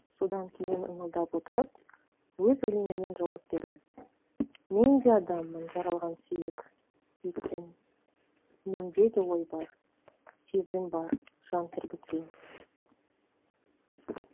содан кейін ыңылдап отырып өз өлеңімен жауап берді мен де адаммын жаралған сүйек еттен менде де ой бар сезім бар жан тербеткен